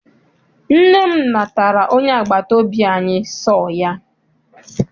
Nne m natara onye agbata obi anyi sọọ ya.